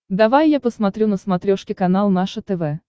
давай я посмотрю на смотрешке канал наше тв